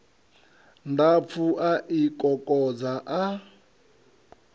ndapfu a i kokodza a